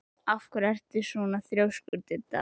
Af hverju ertu svona þrjóskur, Didda?